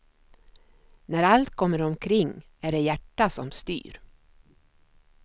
När allt kommer omkring är det hjärtat som styr.